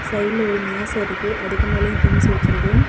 சைட்ல ஒரு மேச இருக்கு அதுக்கு மேலயும் திங்ஸ் வெச்சி இருக்கு.